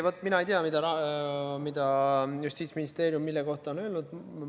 Vaat mina ei tea, mida Justiitsministeerium mille kohta on öelnud.